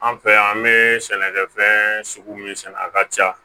An fɛ yan an bɛ sɛnɛkɛfɛn sugu min sɛnɛ a ka ca